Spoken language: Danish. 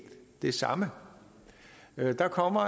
det samme der kommer